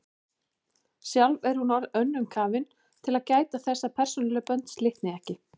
Sjálf er hún of önnum kafin til að gæta þess að persónuleg bönd slitni ekki.